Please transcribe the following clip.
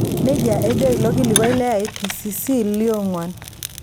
nejia ejo ilkilikuai le IPCC loong'wuan.